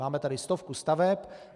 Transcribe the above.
Máme tady stovku staveb.